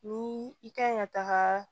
Ni i kan ka taga